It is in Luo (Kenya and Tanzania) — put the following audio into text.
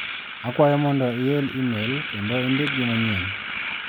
Akwayo mondo iel imel kendo indik gi manyien.